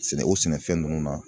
Sɛnɛ o sɛnɛfɛn ninnu na